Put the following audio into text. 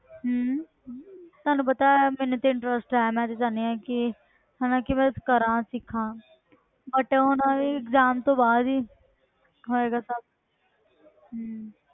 ਹਮ ਤੁਹਾਨੂੰ ਪਤਾ ਹੈ ਮੈਨੂੰ ਤੇ interest ਹੈ ਮੈਂ ਤੇ ਚਾਹੁੰਦੀ ਹਾਂ ਕਿ ਹਨਾ ਕਿ ਮੈਂ ਕਰਾਂ ਸਿੱਖਾਂ but ਹੁਣ exam ਤੋਂ ਬਾਅਦ ਹੀ ਹੋਏਗਾ ਸਭ ਹਮ